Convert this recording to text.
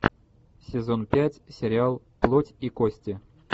сезон пять сериал плоть и кости